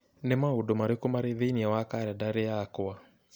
Nĩ maũndũ marĩkũ marĩ thĩinĩ wa kalendarĩ yakwa?